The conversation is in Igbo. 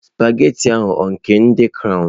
Sụpaghetị ahụ ọ nke ndị crọwnu?